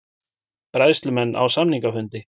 Bræðslumenn á samningafundi